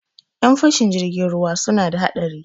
Ƴan fashin jirgin ruwa suna da haɗari.